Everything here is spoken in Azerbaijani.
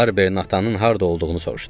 Barberin atanın harda olduğunu soruşdum.